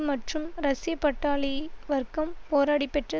மற்றும் ரஷ்ய பட்டாளி வர்க்கம் போராடிப்பெற்ற